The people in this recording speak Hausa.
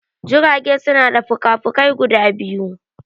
Jirage suna da fuka fukai guda biyu